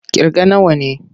Ƙirga nawa ne!